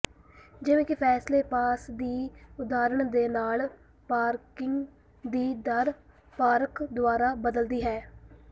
ਜਿਵੇਂ ਕਿ flash pass ਦੀ ਉਦਾਹਰਣ ਦੇ ਨਾਲ ਪਾਰਕਿੰਗ ਦੀ ਦਰ ਪਾਰਕ ਦੁਆਰਾ ਬਦਲਦੀ ਹੈ